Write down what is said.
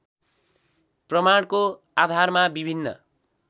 प्रमाणको आधारमा विभिन्न